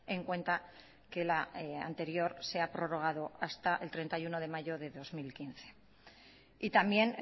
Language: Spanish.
en cuenta que la anterior se ha prorrogado hasta el treinta y uno de mayo de dos mil quince y también